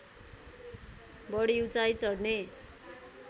बढी उचाइ चढ्ने